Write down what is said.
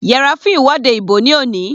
Yẹra fún ìwọ́de ìbò ní òní.